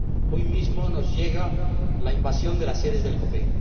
Hoy mismo nos llega la invasión de las sedes del Copei.